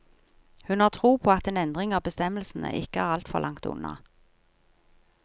Hun har tro på at en endring av bestemmelsene ikke er alt for langt unna.